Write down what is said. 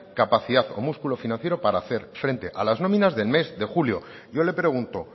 capacidad o músculo financiero para hacer frente a las nóminas del mes de julio yo le pregunto